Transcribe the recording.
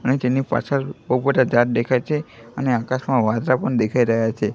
અને તેની પાછળ બોવ બધા દાત દેખાય છે અને આકાશમાં વાદળા પણ દેખાઈ રહ્યા છે.